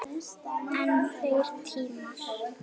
En þeir tímar!